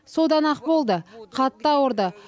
содан ақ болды қатты ауырды